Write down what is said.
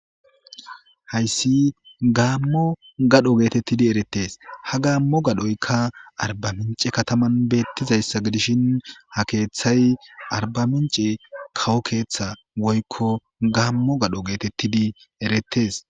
Hayssi gaammo gadho geetettidi erettes. Ha gaammo gadhoykka arba mincce kataman beettizayssa gidishin ha keethay arbamincce kawo keetha woykko gaammo gadho geetettidi erettees.